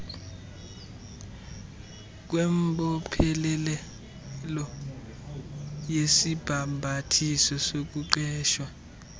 kwembophelelo yesibhambathiso sokuqeshwa